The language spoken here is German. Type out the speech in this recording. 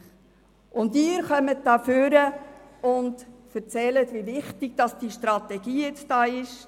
Nun treten Sie ans Rednerpult und erzählen, wie wichtig diese Strategie sei.